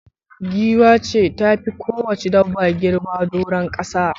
Giwa ce ta fi kowacce dabba girma doron kasa.